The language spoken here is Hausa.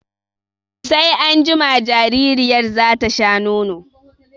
Sai anjima jaririyar za ta sha nono.